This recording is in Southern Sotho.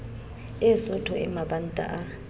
e sootho e mabanta a